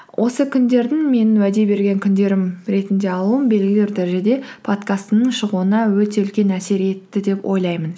осы күндердің менің уәде берген күндерім ретінде алуым белгілі бір дәрежеде подкасттың шығуына өте үлкен әсер етті деп ойлаймын